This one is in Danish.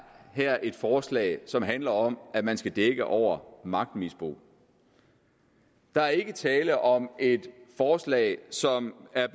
er et forslag som handler om at man skal dække over magtmisbrug der er ikke tale om et forslag som er